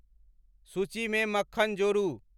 सूचीमे मक्खन जोड़ू